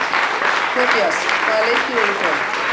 Tobías, hvaða leikir eru í kvöld?